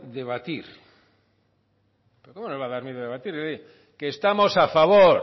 debatir pero cómo nos va a dar miedo debatir que estamos a favor